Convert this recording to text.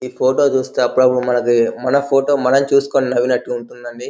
ఈ ఫోటో చూస్తే అపుడప్పుడు మనది మన ఫోటో మనం చూసుకుని నవ్వినట్లుంటుందండీ.